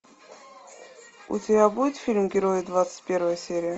у тебя будет фильм герои двадцать первая серия